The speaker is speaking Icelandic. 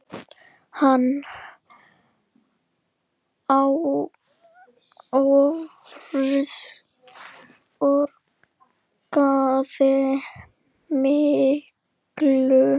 Hann áorkaði miklu.